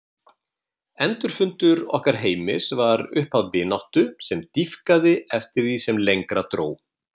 Endurfundur okkar Heimis varð upphaf vináttu sem dýpkaði eftir því sem lengra dró.